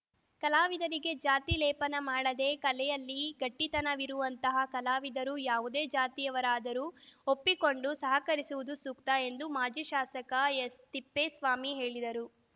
ಕಲಾವಿದರಿಗೆ ಜಾತಿ ಲೇಪನ ಮಾಡದೆ ಕಲೆಯಲ್ಲಿ ಗಟ್ಟಿತನವಿರುವಂತಹ ಕಲಾವಿದರು ಯಾವುದೇ ಜಾತಿಯವರಾದರೂ ಒಪ್ಪಿಕೊಂಡು ಸಹಕರಿಸುವುದು ಸೂಕ್ತ ಎಂದು ಮಾಜಿ ಶಾಸಕ ಎಸ್‌ತಿಪ್ಪೇಸ್ವಾಮಿ ಹೇಳಿದರು